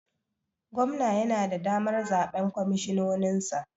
Gwamna yana da damar zaɓen kwamishinoninsa?